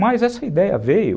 Mas essa ideia veio